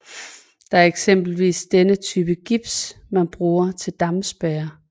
Det er eksempelvis denne type gips man bruger til dampspærre